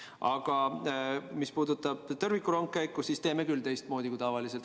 Aga mis puudutab tõrvikurongkäiku, siis teeme teistmoodi kui tavaliselt.